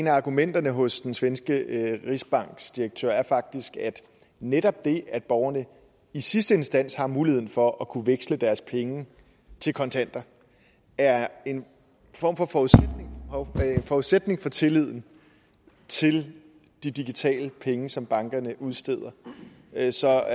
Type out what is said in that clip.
af argumenterne hos den svenske rigsbankdirektør er faktisk at netop det at borgerne i sidste instans har muligheden for at kunne veksle deres penge til kontanter er en form for forudsætning for tilliden til de digitale penge som bankerne udsteder altså